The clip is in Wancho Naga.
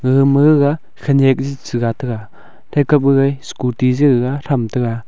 gaga ma ga khanyak chaja taga takap jai scooty cha ga jaja tham taga.